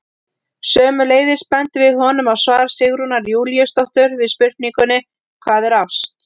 Sömuleiðis bendum við honum á svar Sigrúnar Júlíusdóttur við spurningunni Hvað er ást?